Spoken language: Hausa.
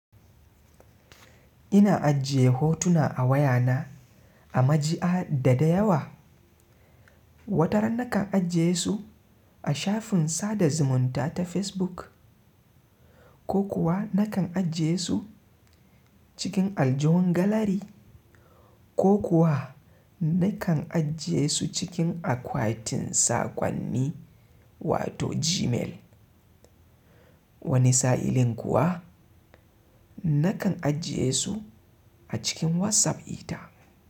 Ina ajiye hotuna a wayana a majiya da da yawa. Wataran nakan ajiye su a shafin sada zumunta ta Facebook. Ko kuwa nakan ajiye su cikin aljihun galari. Ko kuwa nakan ajiye su cikin akwatin sakonni wato Gmail. Wani sa'illin kuwa nakan ajiye su a cikin WhatsApp dita.